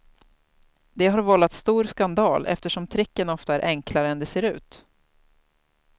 Det har vållat stor skandal eftersom tricken ofta är enklare än det ser ut.